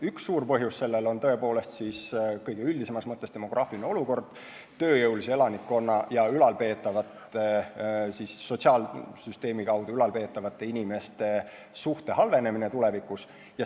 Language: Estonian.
Üks suur põhjus on tõepoolest kõige üldisemas mõttes demograafiline olukord, st tööjõulise elanikkonna ja sotsiaalsüsteemi kaudu ülal peetavate inimeste suhte halvenemine tulevikus.